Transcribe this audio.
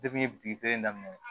daminɛ